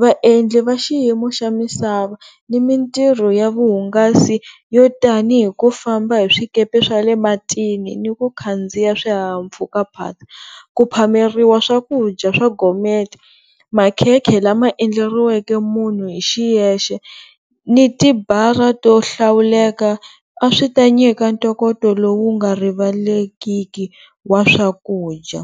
vaendli va xiyimo xa misava ni mintirho ya vuhungasi yo tanihi ku famba hi swikepe swa le matini, ni ku khandziya swihahampfhukaphatsa, ku phameriwa swakudya swa gourmet, makhekhe lama endleriweke munhu hi xiyexe ni tibara to hlawuleka a swi ta nyika ntokoto lowu nga rivalekiki wa swakudya.